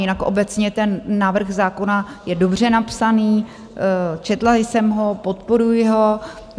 Jinak obecně ten návrh zákona je dobře napsaný, četla jsem ho, podporuji ho.